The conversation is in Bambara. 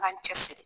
An k'an cɛ siri